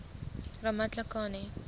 ramatlakane